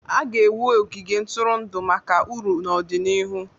A ga-ewu ogige ntụrụndụ maka uru n'ọdịnihu.